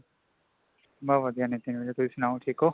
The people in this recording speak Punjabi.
ਮੈਂ ਵਧੀਆ ਨਿਤਿਨ ,ਵੀਰੇ ਤੁਸੀਂ ਸੁਣਾਓ ਠੀਕ ਹੋ